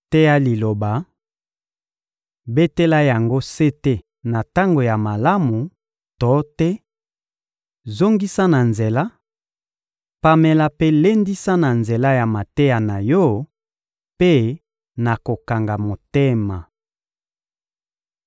teya Liloba, betela yango sete na tango ya malamu to te, zongisa na nzela, pamela mpe lendisa na nzela ya mateya na yo mpe na kokanga motema.